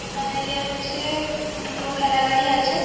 এখানে দেখা যাচ্ছে উম দুটো খেলা গাড়ি আছে।